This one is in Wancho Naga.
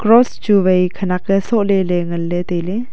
cross cross chu wai khanak ye sohle le nganle taile.